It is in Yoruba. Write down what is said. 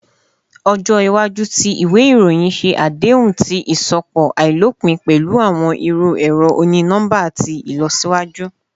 Ọjọ iwaju ti iwe iroyin ṣe adehun ti iṣọpọ ailopin pẹlu awọn iru ẹrọ oni-nọmba ti ilọsiwaju